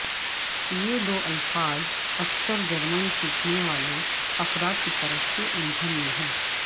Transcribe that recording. یہ دو الفاظ اکثر جرمن سیکھنے والے افراد کی طرف سے الجھن میں ہیں